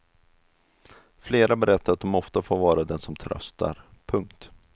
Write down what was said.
Flera berättar att de ofta får vara den som tröstar. punkt